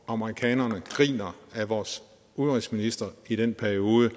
amerikanerne griner af vores udenrigsminister i den periode